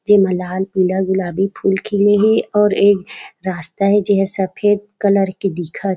जेमा लाल पीला गुलाबी फूल खिले हे और एक रास्ता हे जेहा सफ़ेद कलर के दिखत--